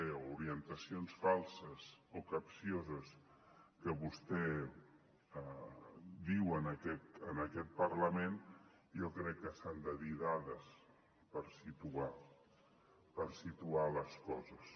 o orientacions falses o capcioses que vostè diu en aquest parlament jo crec que s’han de dir dades per situar les coses